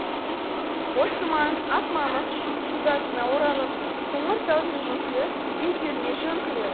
боз тұманың ақ мамық шудасына оралып қоңыр таудың өкілі бедеріне жөңкілі